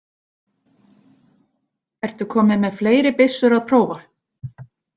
Ertu kominn með fleiri byssur að prófa?